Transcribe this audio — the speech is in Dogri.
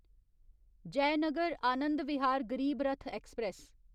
जयनगर आनंद विहार गरीब रथ ऐक्सप्रैस